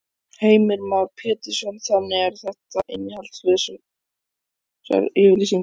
Heimir Már Pétursson: Þannig að þetta eru innihaldslausar yfirlýsingar?